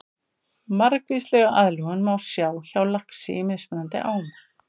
Margvíslega aðlögun má sjá hjá laxi í mismunandi ám.